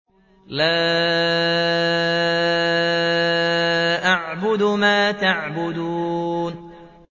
لَا أَعْبُدُ مَا تَعْبُدُونَ